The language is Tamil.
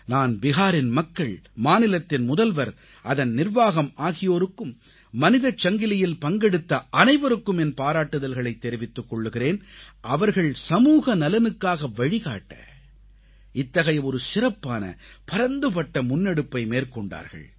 நான் பிஹாரின் மக்கள் மாநிலத்தின் முதல்வர் அதன் நிர்வாகம் ஆகியோருக்கும் மனிதச்சங்கிலியில் பங்கெடுத்த அனைவருக்கும் என் பாராட்டுதல்களைத் தெரிவித்துக் கொள்கிறேன் அவர்கள் சமூகநலனுக்காக வழிகாட்ட இத்தகைய ஒரு சிறப்பான பரந்துபட்ட முன்னெடுப்பை மேற்கொண்டார்கள்